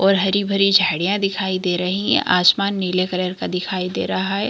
और हरी-भरी झाड़ियाँ दिखाई दे रही है आसमान नीले कलर का दिखाई दे रहा है।